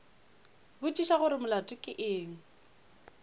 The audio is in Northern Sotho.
botšiša gore molato ke eng